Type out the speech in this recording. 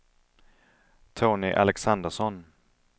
Tony Alexandersson